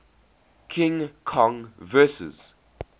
king kong vs